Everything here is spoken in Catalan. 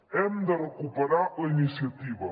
hem de recuperar la iniciativa